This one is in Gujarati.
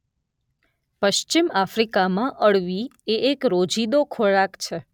પશ્ચિમ આફ્રિકામાં અળવી એ એક રોજિંદો ખોરાક છે.